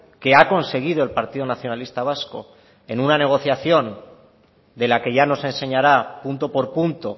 que ha conseguido el partido nacionalista vasco en una negociación de la que ya nos enseñará punto por punto